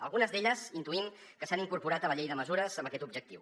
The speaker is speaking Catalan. algunes d’elles intuïm que s’han incorporat a la llei de mesures amb aquest objectiu